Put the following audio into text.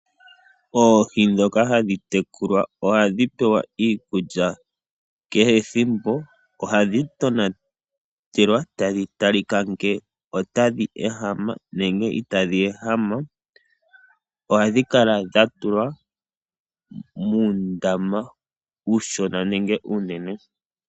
Oohi ndhoka hadhi tekulwa ohadhi pewa iikulya . Kehe ethimbo ohadhi tonatelwa, tadhi talikwa ngele otadhi ehama nenge itadhi ehama . Ohadhi kala dhatulwa muundama uushona nuunene.